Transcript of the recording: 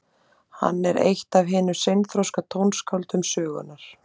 Hann var eitt af hinum seinþroska tónskáldum sögunnar.